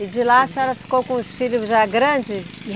E de lá a senhora ficou com os filhos já grandes?